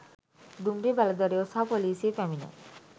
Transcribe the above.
දුම්රිය බලධරයෝ සහ පොලිසිය පැමිණ